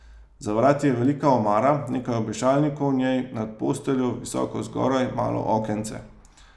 Za vrati je velika omara, nekaj obešalnikov v njej, nad posteljo, visoko zgoraj, malo okence.